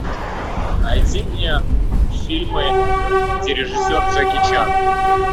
найди мне фильмы где режиссер джеки чан